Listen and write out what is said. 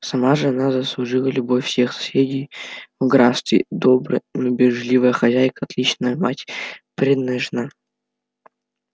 сама же она заслужила любовь всех соседей в графстве добрая но бережливая хозяйка отличная мать преданная жена